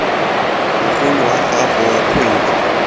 mogolo wa gago wa kgwedi